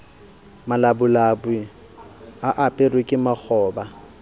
malabulabu di aperwe ke makgoba